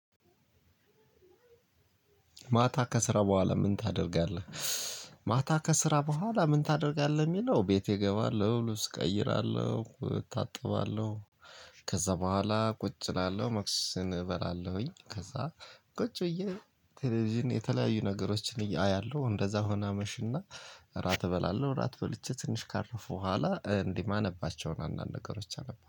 ማታ ከስራ በኋላ ምን ታደርጋለህ? ማታ ከስራ በኋላ ምን ታደርጋለህ የሚለው ቤቴ እገባለሁ ልብስ እቀይራለሁ እታጠባለሁ። ከዛ በኋላ ቁጭ እላለሁ መክሰሴን እበላለሁኝ። ከዛ ቁጭ ብዬ ቴሌቭዥን የተላያዩ ነገሮችን አያለሁ እንደዛ ሁኖ አመሽ እና። እራት እበላለሁ እራት በልቼ ትንሽ ካረፍኩ በኋላ እንዲ ማነባቸውን አንዳንድ ነገሮች አነባለሁ